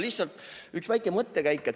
Lihtsalt üks väike mõttekäik.